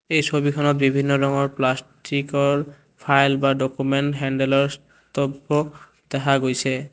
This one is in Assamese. এই ছবিখনত বিভিন্ন ৰঙৰ প্লাষ্টিকৰ ফাইল বা ডকুমেন্ট হেণ্ডেলৰ দব্ৰ দেখা গৈছে।